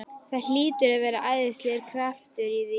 Það hlýtur að vera æðislegur kraftur í því!